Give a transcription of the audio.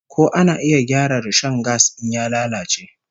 Ko ana iya gyara rishon gas in ya lalace?